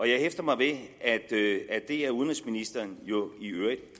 jeg hæfter mig ved at det er udenrigsministeren jo i øvrigt